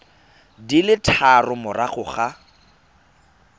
di le tharo morago ga